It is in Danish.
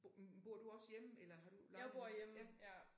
Bo bor du også hjemme eller har du lejer noget for ja